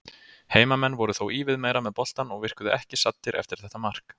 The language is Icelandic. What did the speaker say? Heimamenn voru þó ívið meira með boltann og virkuðu ekki saddir eftir þetta mark.